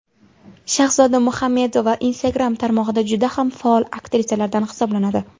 Shahzoda Muhammedova Instagram tarmog‘ida juda ham faol aktrisalardan hisoblanadi.